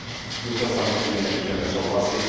S tímto samozřejmě nemůžeme souhlasit.